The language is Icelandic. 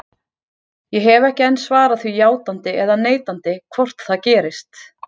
Ég hef ekki enn svarað því játandi eða neitandi hvort það gerist.